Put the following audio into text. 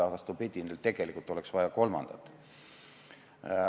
Vastupidi, neile tegelikult oleks vaja ka kolmandat.